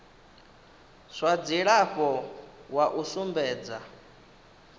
zwa dzilafho wa u sumbedza